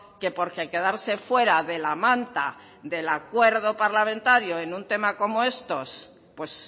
que porque quedarse fuera de la manta del acuerdo parlamentario en un tema como estos pues